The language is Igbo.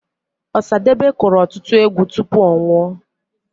Ọsadebe kụrụ ọtụtụ egwu tupu ọ nwụọ.